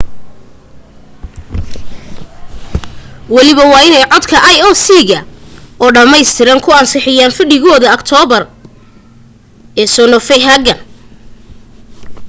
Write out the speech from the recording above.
waliba codka waa inay ioc ga oo dhammaystiran ku ansixiyaan fadhigooda aktoobar ee copenhagen